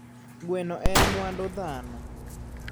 Gweno en mwandu dhano